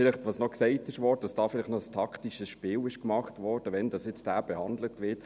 Vielleicht zu etwas, das noch gesagt wurde, dass ein taktisches Spiel gemacht wurde, wann dieser behandelt wird: